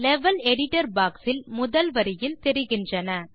level editor box இல் முதல் வரியில் தெரிகின்றன